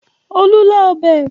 Olú lá ọbẹ̀?